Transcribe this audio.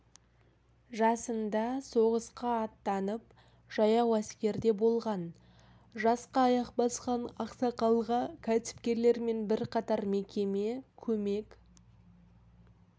жасында соғысқа аттанып жаяу әскерде болған жасқа аяқ басқан ақсақалға кәсіпкерлер мен бірқатар мекеме көмек